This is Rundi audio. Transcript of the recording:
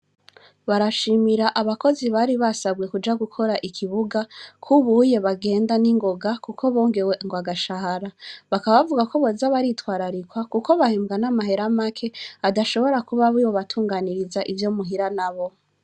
Barashimira abakozi bari basanzwe kuja gukora ikibuga, k'ubuye bagenda n'ingoga kuko bongewe ngw'agashahara. Bakaba bavuga ko boza baritwararikwa kuko bahembwa n'amahera make adashobora kuba yobatunganiriza ivyo muhira nabo.